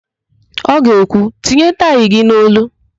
Ọ ga-ekwu, "tinye taị gị n'olu"!